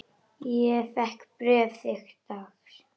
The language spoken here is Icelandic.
Ég fékk bréf þitt dags.